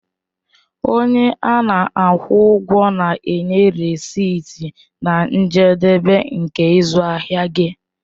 Onye ana-akwụ ụgwọ na-enye rèsịtị na njedebe nke ịzụ ahịa gị.